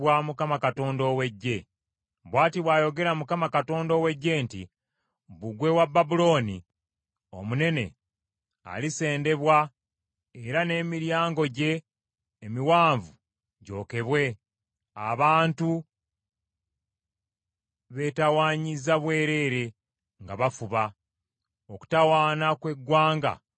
Bw’ati bw’ayogera Mukama Katonda ow’Eggye nti, “Bbugwe wa Babulooni omunene alisendebwa era n’emiryango gye emiwanvu gyokebwe; abantu beetawanyiza bwerere nga bafuba, okutawaana kw’eggwanga kuliba nku za muliro.”